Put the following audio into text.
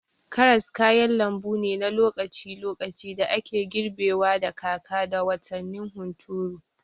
Karas kayan lambu ne na lokaci-lokaci da ake girbewa da kaka da watannin hunturu.